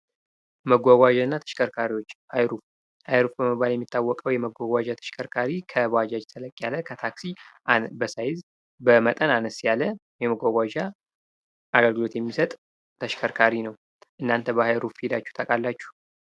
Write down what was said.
መጓጓዣና ተሽከርካሪዎች አይሩፍ በመባል የሚታወቀው የመጓጓዣ ተሽከርካሪ ከባጃጅ ተለቅ ያለ ከታክሲ በሳይዝ በመጠን አነስ ያለ የመጓጓዣ አገልግሎት የሚሰጥ ተሽከርካሪ ነው። እናተ በአይሩፍ ሂዳችሁ ታውቃላችሁ?